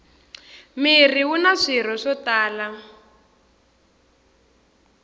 mirhi wuna swirho swo tala